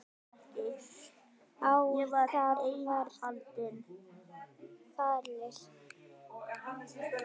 Á það var ekki fallist.